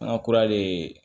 An ka kura de